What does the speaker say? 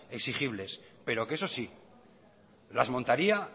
exigibles pero que eso sí las montaría